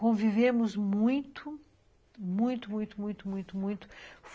Convivemos muito, muito, muito, muito, muito, muito.